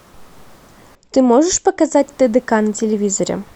ты можешь показать тдк на телевизоре